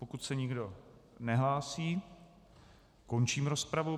Pokud se nikdo nehlásí, končím rozpravu.